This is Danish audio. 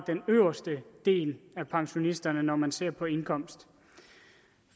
den øverste del af pensionisterne når man ser på deres indkomst